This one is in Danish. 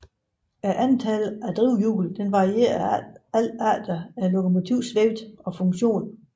Antallet af drivhjul varier alt efter lokomotivets vægt og funktion